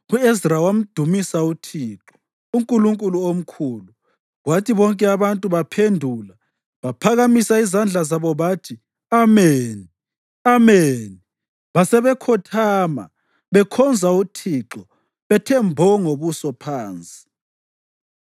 U-Ezra wamdumisa uThixo, uNkulunkulu omkhulu, kwathi bonke abantu baphendula baphakamisa izandla zabo bathi, “Ameni! Ameni!” Basebekhothama bekhonza uThixo bethe mbo ngobuso phansi.